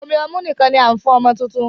Omí ọmu nìkan ní a fún ọmọ tuntun.